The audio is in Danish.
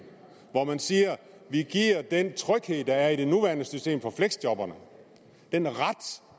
hvor man siger at vi giver den tryghed der er i det nuværende system for fleksjobberne den ret